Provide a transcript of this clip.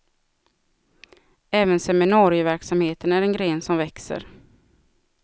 Även seminarieverksamheten är en gren som växer.